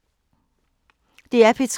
DR P3